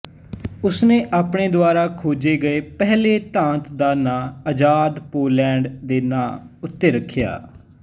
ਉਸਨੇ ਆਪਣੇ ਦੁਆਰਾ ਖੋਜੇ ਗਏ ਪਹਿਲੇ ਧਾਤ ਦਾ ਨਾਂ ਅਜਾਦ ਪੋਲੈਂਡ ਦੇ ਨਾਂ ਉੱਤੇ ਰਖਿਆ